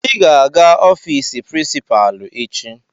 Ị ga-aga ofiisi prinsipalu echi.